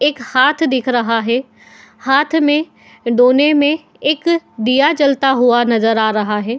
एक हाथ दिख रहा है। हाथ में दोने में एक दिया चलता हुआ नजर आ रहा है।